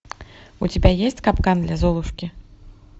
у тебя есть капкан для золушки